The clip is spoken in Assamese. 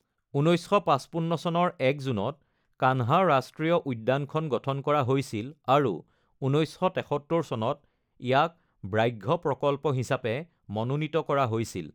১৯৫৫ চনৰ ১ জুনত কানহা ৰাষ্ট্ৰীয় উদ্যানখন গঠন কৰা হৈছিল আৰু ১৯৭৩ চনত ইয়াক ব্যাঘ্ৰ প্ৰকল্প হিচাপে মনোনীত কৰা হৈছিল।